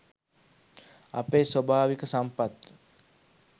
අපේ ස්වභාවික සම්පත්